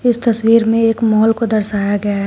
इस तस्वीर में एक मॉल को दर्शाया गया है।